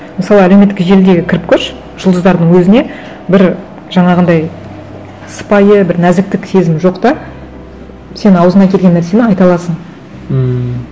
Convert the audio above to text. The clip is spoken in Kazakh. мысалы әлеуметтік желіге кіріп көрші жұлдыздардың өзіне бір жаңағындай сыпайы бір нәзіктік сезім жоқ та сен ауызыңа келген нәрсені айта аласың ммм